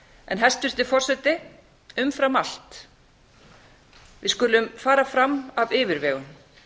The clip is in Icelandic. en hæstvirtur forseti við skulum umfram allt fara fram af yfirvegun